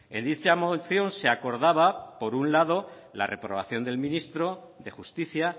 en dicha moción se acordaba por un lado la reprobación del ministro de justicia